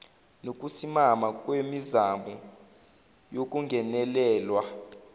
nokusimama kwemizamo yokungenelelwa